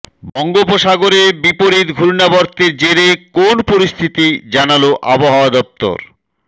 বঙ্গোপসাগরে বিপরীত ঘূর্ণাবর্তের জেরে কোন পরিস্থিতি জানাল আবহাওয়া দফতর